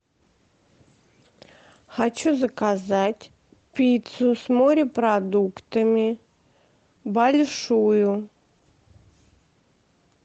хочу заказать пиццу с морепродуктами большую